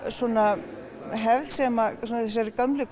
svona hefð sem þessa gömlu